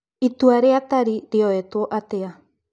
Itua rĩa Tari rĩoetwo atĩa ?